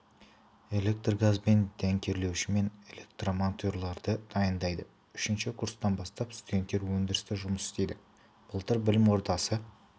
электр-газбен дәнекерлеуші мен электрмонтерларды дайындайды үшінші курстан бастап студенттер өндірісте жұмыс істейді былтыр білім ордасы